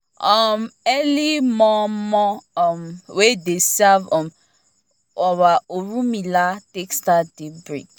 um early moh-moh um wey dey serve um our orumila take start day break